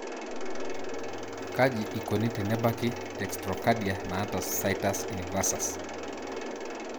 kaji ikoni tenebaki dextrocadia naata situs inversus?